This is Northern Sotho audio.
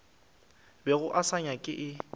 bego a se nyaka e